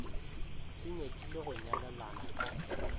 se nyakile go nyalelana ka